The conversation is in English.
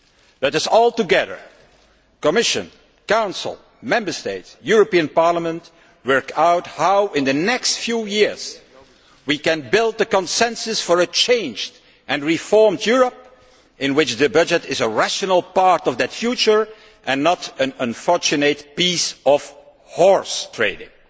Let us all together the Commission, the Council, Member States and the European Parliament work out how, in the next few years, we can build a consensus for a changed and reformed Europe in which the budget is a rational part of the future and not an unfortunate piece of horse trading.